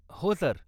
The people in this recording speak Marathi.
हो, सर.